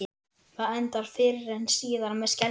Það endar fyrr eða síðar með skelfingu.